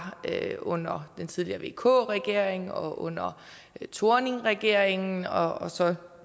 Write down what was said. under den tidligere vk regering og under thorningregeringen og så